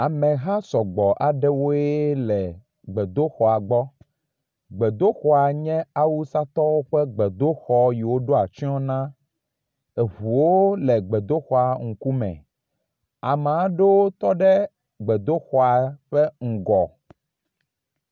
Ameha sɔgbɔ aɖewoe le gbedoxŋa gbɔ. Gbedoxɔa nye awusatɔwo ƒe gbedoxɔ yi woɖo atsɔ na. Eŋuwo le gbedoxɔa ŋku me. ame aɖewo tɔ ɖe gbedoxɔa ƒe ŋgɔ.